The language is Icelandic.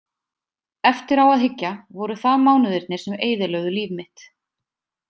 Eftir á að hyggja voru það mánuðirnir sem eyðilögðu líf mitt.